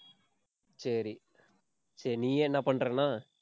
சரி. சரி நீயே என்ன பண்றேன்னா